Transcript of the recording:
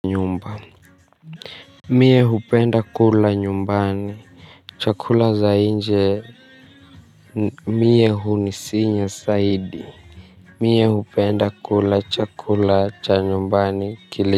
Nyumba. Mie hupenda kula nyumbani. Chakula za nje. Mie hunisinya saidi. Mie hupenda kula chakula cha nyumbani kile.